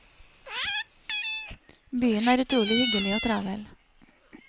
Byen er utrolig hyggelig og travel.